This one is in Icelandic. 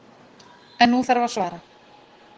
En nú þarf að svara.